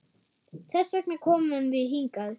Þess vegna komum við hingað.